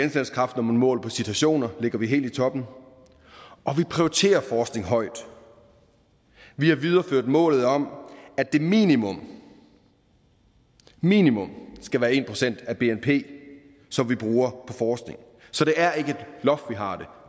når man måler på citationer ligger vi helt i toppen og vi prioriterer forskningen højt vi har videreført målet om at det minimum minimum skal være en procent af bnp som vi bruger på forskning så det er ikke et loft vi har